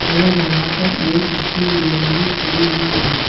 और यहां पर एक स्कूल वैन भी खड़ी हुई है।